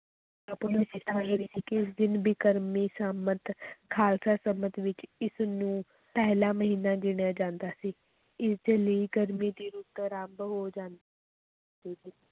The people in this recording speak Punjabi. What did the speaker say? ਇਸ ਦਿਨ ਬਿਕਰਮੀ ਸੰਮਤ ਖ਼ਾਲਸਾ ਸੰਮਤ ਵਿੱਚ ਇਸ ਨੂੰ ਪਹਿਲਾ ਮਹੀਨਾ ਗਿਣਿਆ ਜਾਂਦਾ ਸੀ, ਇਸ ਦੇ ਲਈ ਗਰਮੀ ਦੀ ਰੁੱਤ ਅਰੰਭ ਹੋ ਜਾਂ